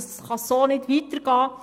So kann es nicht weitergehen!